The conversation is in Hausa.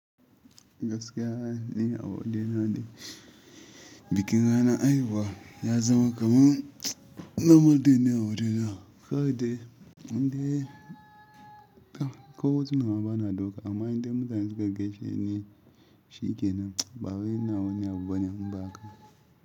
Gaskiya ni a waje na dai, bikin ranar haihuwa ya zama kaman nornal day ne a waje na, kawai dai indai tau ko hutuna ma ba na dauka amma inda mutane suka gaisheni. Shikenan ba wai ina wani abu bane in ba haka ba.